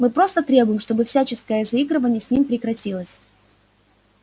мы просто требуем чтобы всяческое заигрывание с ним прекратилось